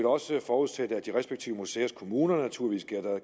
også forudsætte at de respektive museers kommuner